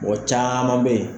Mɔmɔ caaman be yen